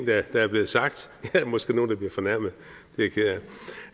der er blevet sagt der er måske nogle der bliver fornærmet